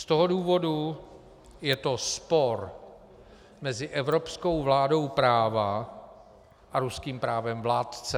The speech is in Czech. Z toho důvodu je to spor mezi evropskou vládou práva a ruským právem vládce.